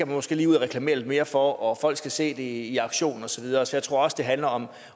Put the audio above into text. måske lige ud og reklamere lidt mere for og folk skal se det i aktion og så videre så jeg tror også det handler om